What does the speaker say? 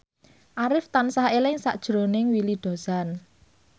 Arif tansah eling sakjroning Willy Dozan